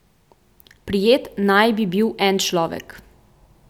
Prijet naj bi bil en človek.